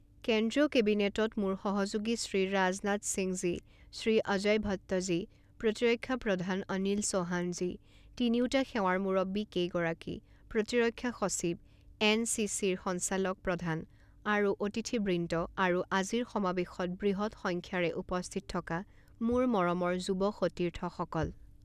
কেন্দ্ৰীয় কেবিনেটত মোৰ সহযোগী শ্ৰী ৰাজনাথ সিংজী, শ্ৰী অজয় ভট্টজী, প্ৰতিৰক্ষা প্ৰধান অনিল চৌহানজী, তিনিওটা সেৱাৰ মূৰব্বীকেইগৰাকী, প্ৰতিৰক্ষা সচিব, এনচিচিৰ সঞ্চাচালক প্ৰধান আৰু অতিথিবৃন্দ আৰু আজিৰ সমাৱেশত বৃহৎ সংখ্যাৰে উপস্থিত থকা মোৰ মৰমৰ যুৱ সতীৰ্থসকল!